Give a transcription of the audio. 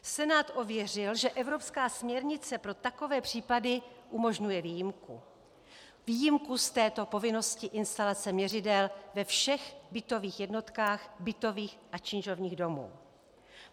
Senát ověřil, že evropská směrnice pro takové případy umožňuje výjimku, výjimku z této povinnosti instalace měřidel ve všech bytových jednotkách bytových a činžovních domů.